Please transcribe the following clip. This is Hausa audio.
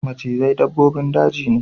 Macizai dabbobin daji ne.